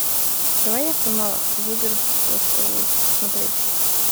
давай я сама выберу то что лучше смотреть